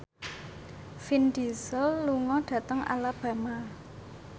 Vin Diesel lunga dhateng Alabama